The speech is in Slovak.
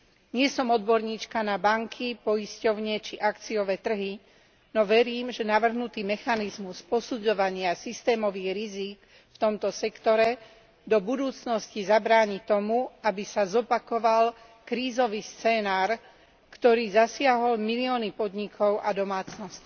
Nie som odborníčka na banky, poisťovne či akciové trhy, no verím, že navrhnutý mechanizmus posudzovania systémových rizík v tomto sektore v budúcnosti zabráni tomu, aby sa zopakoval krízový scenár, ktorý zasiahol milióny podnikov a domácností.